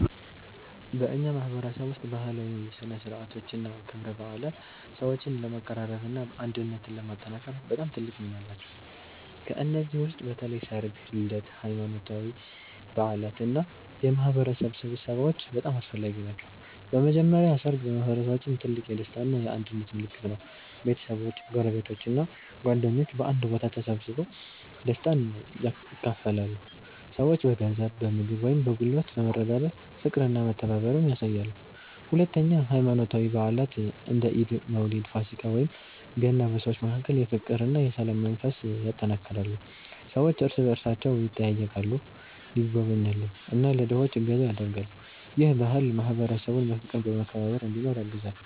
በእኛ ማህበረሰብ ውስጥ ባህላዊ ሥነ ሥርዓቶችና ክብረ በዓላት ሰዎችን ለማቀራረብና አንድነትን ለማጠናከር በጣም ትልቅ ሚና አላቸው። ከእነዚህ ውስጥ በተለይ ሠርግ፣ ልደት፣ ሃይማኖታዊ በዓላት እና የማህበረሰብ ስብሰባዎች በጣም አስፈላጊ ናቸው። በመጀመሪያ ሠርግ በማህበረሰባችን ትልቅ የደስታ እና የአንድነት ምልክት ነው። ቤተሰቦች፣ ጎረቤቶች እና ጓደኞች በአንድ ቦታ ተሰብስበው ደስታን ያካፍላሉ። ሰዎች በገንዘብ፣ በምግብ ወይም በጉልበት በመረዳዳት ፍቅርና መተባበርን ያሳያሉ። ሁለተኛ ሃይማኖታዊ በዓላት እንደ ኢድ፣ መውሊድ፣ ፋሲካ ወይም ገና በሰዎች መካከል የፍቅርና የሰላም መንፈስ ያጠናክራሉ። ሰዎች እርስ በእርሳቸው ይጠያየቃሉ፣ ይጎበኛሉ እና ለድሆች እገዛ ያደርጋሉ። ይህ ባህል ማህበረሰቡን በፍቅርና በመከባበር እንዲኖር ያግዛል።